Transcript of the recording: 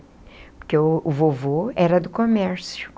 Porque o o vovô era do comércio.